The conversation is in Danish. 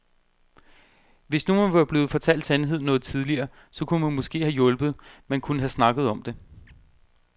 Hvis nu man var blevet fortalt sandheden noget tidligere, så kunne man måske have hjulpet, man kunne have snakket om det.